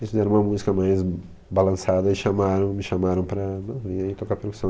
Eles fizeram uma música mais balançada e chamaram, me chamaram para vir tocar percussão.